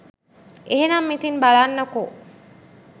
එහෙනම් ඉතින් බලන්නකො